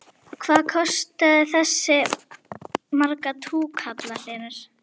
Hvað kostaði þessi marga túkalla Hlynur?